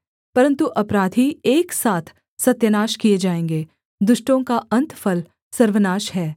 परन्तु अपराधी एक साथ सत्यानाश किए जाएँगे दुष्टों का अन्तफल सर्वनाश है